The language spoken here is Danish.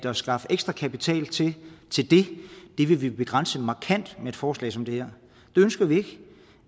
at skaffe ekstra kapital til det vil blive begrænset markant med et forslag som det her det ønsker vi